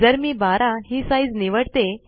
जर मी 12 हि साइज निवडते